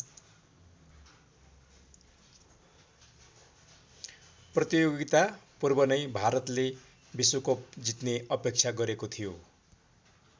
प्रतियोगिता पूर्व नै भारतले विश्वकप जित्ने अपेक्षा गरेको थियो।